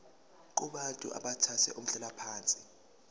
kubantu abathathe umhlalaphansi